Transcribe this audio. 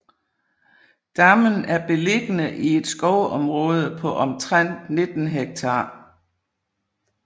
Dammen er beliggende i et skovområde på omtrent 19 ha